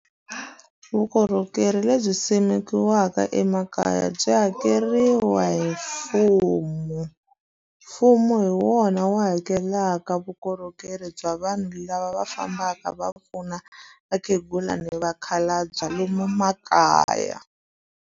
Vukorhokeri lebyi simekiweke emakaya byi hakeriwa hi mfumo. Mfumo hi wona wu hakelelaka vukorhokeri bya vanhu lava va fambaka va pfuna vakhegula ni vakhalabya lomu makaya.